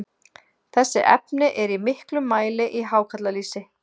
þessi efni eru í miklum mæli í hákarlalýsi